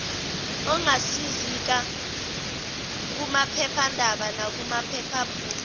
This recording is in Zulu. ongazisika kumaphephanda nakumaphephabhuku